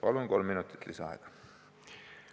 Palun kolm minutit lisaaega!